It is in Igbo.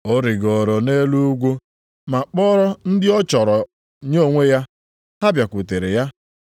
Ọ rigooro nʼelu ugwu ma kpọrọ ndị ọ chọrọ nye onwe ya. Ha bịakwutekwara ya.